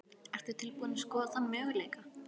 Ertu tilbúin að skoða þann möguleika?